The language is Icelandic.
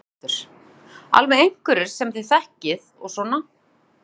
Þórhildur: Alveg einhverjir sem þið þekkið og svona?